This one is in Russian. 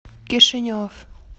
кишинев